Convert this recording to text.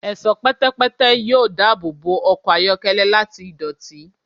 Ẹṣọ pẹtẹpẹtẹ yoo daabobo ọkọ ayọkẹlẹ lati idoti